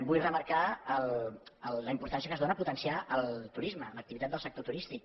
vull remarcar la importància que es dóna a potenciar el turisme l’activitat del sector turístic